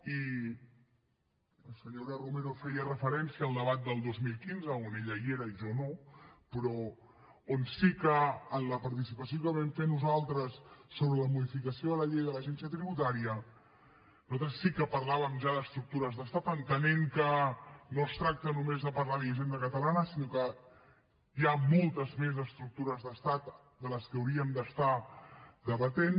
i la senyora romero feia referència al debat del dos mil quinze on ella hi era i jo no però on sí que en la participació que vam fer nosaltres sobre la modificació de la llei de l’agència tributària nosaltres sí que parlàvem ja d’estructures d’estat entenent que no es tracta només de parlar de la hisenda catalana sinó que hi ha moltes més estructures d’estat de les que hauríem d’estar debatent